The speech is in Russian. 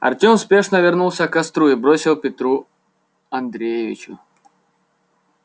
артем спешно вернулся к костру и бросил петру андреевичу